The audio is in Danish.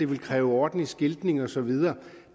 ville kræve ordentlig skiltning og så videre